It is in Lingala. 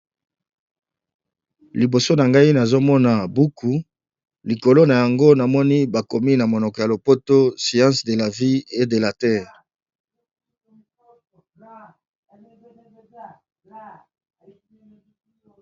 liboso na ngai nazomona buku likolo na yango namoni bakomi na monoko ya lopoto siance de la vie e de la terre